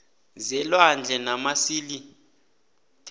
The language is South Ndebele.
zelwandle namasil the